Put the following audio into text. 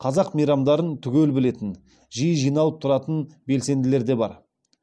қазақ мейрамдарын түгел білетін жиі жиналып тұратын белсенділер де бар